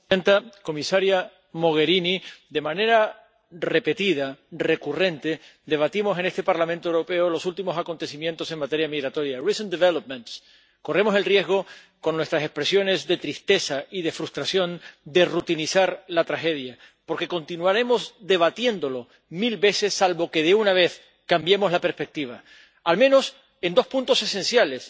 Señora presidenta comisaria Mogherini, de manera repetida, recurrente, debatimos en este Parlamento Europeo los últimos acontecimientos en materia migratoria Corremos el riesgo con nuestras expresiones de tristeza y de frustración de rutinizar la tragedia, porque continuaremos debatiéndolos mil veces, salvo que de una vez cambiemos la perspectiva, al menos, en dos puntos esenciales.